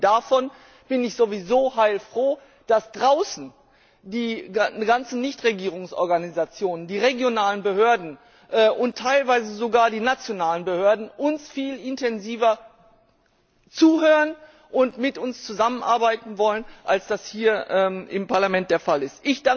Abgesehen davon bin ich sowieso heilfroh, dass draußen die ganzen Nichtregierungsorganisationen, die regionalen Behörden und teilweise sogar die nationalen Behörden uns viel intensiver zuhören und mit uns zusammenarbeiten wollen, als das hier im Parlament der Fall ist.